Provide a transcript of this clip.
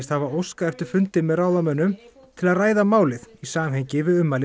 hafa óskað eftir fundi með ráðamönnum til að ræða málið í samhengi við ummæli